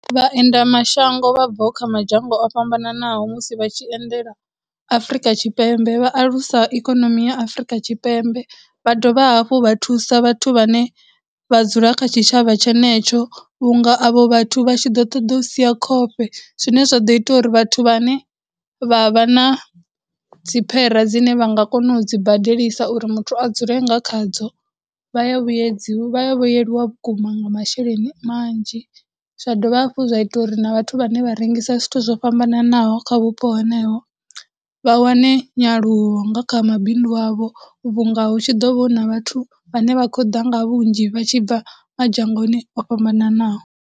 Vhaendela mashango vhabvaho kha madzhango o fhambananaho musi vha tshi endela Afurika Tshipembe, vha alusa ikonomi ya Afurika Tshipembe, vha dovha hafhu vha thusa vhathu vhane vha dzula kha tshitshavha tshenetsho vhunga avho vhathu vhatshi ḓo ṱoḓa u sia khofhe, zwine zwa ḓo ita uri vhathu vhane vha vha na dziphera dzine vha nga kona udzi badelisa uri muthu a dzule nga khadzo. Vha ya vhuyedzi, vha ya vhuyeliwa vhukuma nga masheleni manzhi, zwa dovha hafhu zwa ita uri na vhathu vhane vharengisa zwithu zwo fhambananaho kha vhupo heneho, vha wane nyaluwo nga kha mabindu avho vhunga hu tshi ḓo vho huna vhathu vhane vha khou ḓa nga vhunzhi vha tshi bva dzhangoni o fhambananaho.